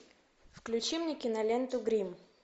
включи мне киноленту грим